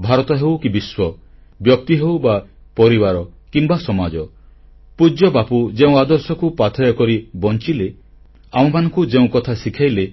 ଭାରତ ହେଉ କି ବିଶ୍ୱ ବ୍ୟକ୍ତି ହେଉ ବା ପରିବାର କିମ୍ବା ସମାଜ ପୂଜ୍ୟବାପୁ ଯେଉଁ ଆଦର୍ଶକୁ ପାଥେୟ କରି ବଂଚିଲେ ଆମମାନଙ୍କୁ ଯେଉଁ କଥା ଶିଖେଇଲେ